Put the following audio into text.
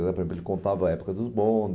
ele contava a época dos bondes.